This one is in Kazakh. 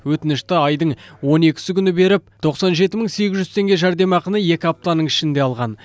өтінішті айдың он екісі күні беріп тоқсан жеті мың сегіз жүз теңге жәрдемақыны екі аптаның ішінде алған